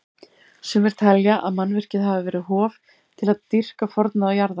Sumir telja að mannvirkið hafi verið hof til að dýrka forna jarðarguði.